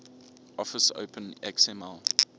office open xml